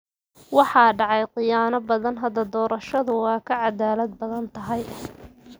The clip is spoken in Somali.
Waxaa dhacay khiyaano badan. Hadda doorashadu waa ka cadaalad badan tahay.